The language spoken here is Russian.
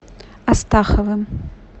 астаховым